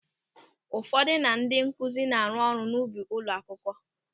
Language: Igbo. Ụmụaka na ndị nkụzi na-arụ ọrụ n'ubi ụlọ akwụkwọ.